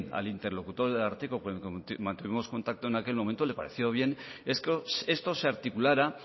al interlocutor del ararteko con quien mantuvimos contacto en aquel momento le pareció bien es que esto se articulara